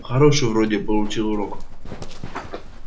хороший вроде получил урок